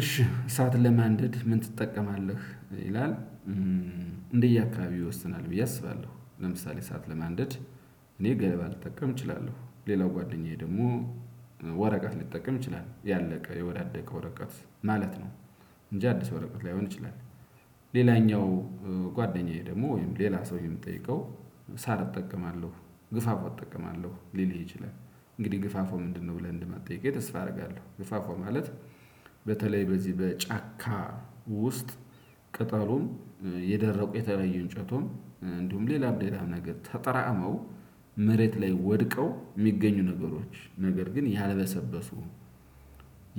እሺ እሳት ለማንደድ ምን ትጠቀማለህ ይላል? እንደየአካባቢው ይወስናል ብዬ አስባለሁ። ለምሳሌ እሳት ለማንደድ እኔ ገለባ ልጠቀም እችላለሁ። ሌላው ጓደኛዬ ደግሞ። ወረቀት ሊጠቀም ይችላል ያለቀ የወዳደቀ ወረቀት ማለት ነው። እንጂ አዲስ ወረቀት ላይሆን ይችላል። ሌላኛው ጓደኛዬ ደግሞ ወይም ሌላ ሰው የምጠይቀው ሳር እጠቀማለሁ። ግፋፎ እጠቀማለሁ ሊልህ ይችላል። እንግዲህ ግፋፎ ምንድነው? ብለህ እንድመጠይቀኝ ተስፋ አደርጋለሁ። ግፋፎ ማለት በተለይ በዚህ በጫካ ውስጥ። ቅጠሉም የደረቁ የተለዩ እንጨቱም እንዲሁም ሌላም ሌላም ነገር ተጠራእመው መሬት ላይ ወድቀው ሚገኙ ነገሮች ነገር ግን ያልበሰበሱ።